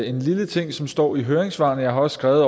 en lille ting som står i høringssvarene jeg har også skrevet